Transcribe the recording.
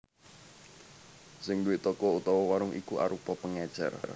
Sing duwé toko utawa warung iku arupa pengecer